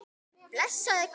Blessaði Guð Ísland?